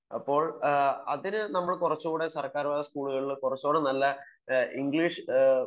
അതിനു നമ്മൾ സർക്കാർ സ്കൂളുകളിൽ കുറച്ചുകൂടി നല്ല ഇംഗ്ലീഷ്